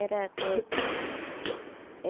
Era coisa